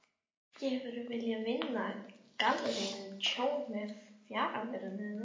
Ekki hefurðu viljað vinna galleríinu tjón með fjarveru þinni?